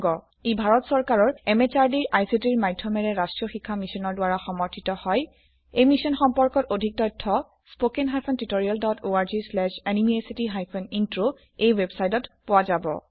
ই ভাৰত চৰকাৰৰ MHRDৰ ICTৰ মাধয়মেৰে ৰাস্ত্ৰীয় শিক্ষা মিছনৰ দ্ৱাৰা সমৰ্থিত হয় ই মিশ্যন সম্পৰ্কত অধিক তথ্য spoken hyphen tutorial dot org slash এনএমইআইচিত হাইফেন ইন্ট্ৰ ৱেবচাইটত পোৱা যাব